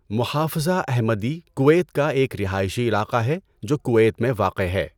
محافظہ Ahmadi Kuwait کا ایک رہائشی علاقہ ہے جو کویت میں واقع ہے۔